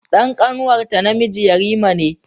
Dan ƙanwarta namiji yarima ne.